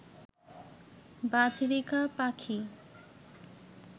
বাজরিকা পাখি